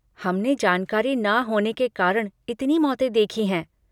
हमने जानकारी ना होने के कारण इतनी मौतें देखी हैं।